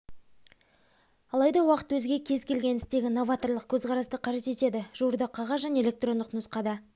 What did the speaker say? алайда уақыт өзге кез келген істегі новаторлық көзқарасты қажет етеді жуырда қағаз және электрондық нұсқада